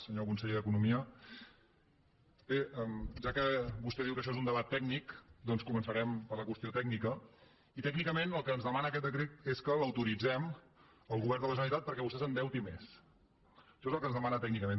senyor conseller d’economia bé ja que vostè diu que això és un debat tècnic doncs començarem per la qüestió tècnica i tècnicament el que ens demana aquest decret és que l’autoritzem al govern de la generalitat perquè vostè s’endeuti més això és el que ens demana tècnicament